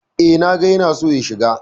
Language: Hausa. Eh, na ga ya na so ya shigo.